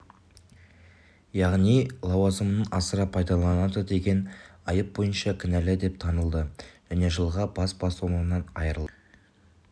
яғни лауазымын асыра пайдаланды деген айып бойынша кінәлі деп танылды және жылға бас бостандығынан айырылды